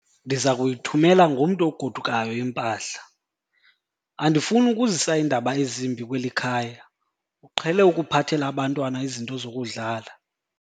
Ndiza kuyithumela ngomntu ogodukayo impahla. andifuni ukuzisa iindaba ezimbi kweli khaya, uqhele ukuphathela abantwana izinto zokudlala